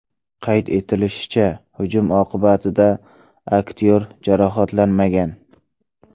Qayd etilishicha, hujum oqibatida aktyor jarohatlanmagan.